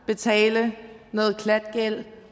betale noget klatgæld